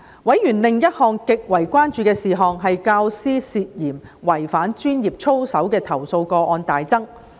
委員另一項極為關注的事項，是教師涉嫌違反專業操守的投訴個案大增。